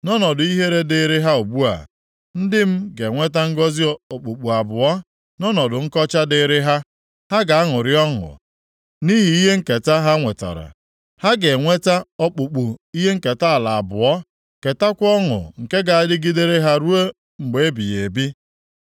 Nʼọnọdụ ihere dịịrị ha ugbu a, ndị m ga-enweta ngọzị okpukpu abụọ, nʼọnọdụ nkọcha dịịrị ha ha ga-aṅụrị ọṅụ nʼihi ihe nketa ha nwetara. Ha ga-enweta okpukpu ihe nketa ala abụọ, ketakwa ọṅụ nke ga-adịgidere ha ruo mgbe ebighị ebi.